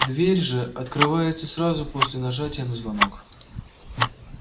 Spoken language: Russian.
дверь же открывается сразу после нажатия на звонок